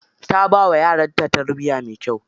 Ta bawa yaranta tarbiya mai kyau.